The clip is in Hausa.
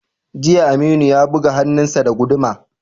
Jiya, Aminu ya buge hannunsa da guduma.